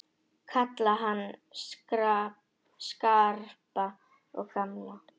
Kalla hann Skarpa og gamla!